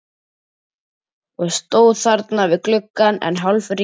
Og stóð þarna við gluggann enn hálfringluð.